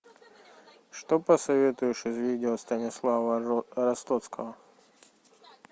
что посоветуешь из видео станислава ростоцкого